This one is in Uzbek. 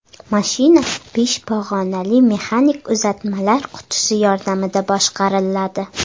Mashina besh pog‘onali mexanik uzatmalar qutisi yordamida boshqariladi.